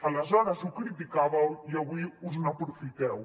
aleshores ho criticàveu i avui us n’aprofiteu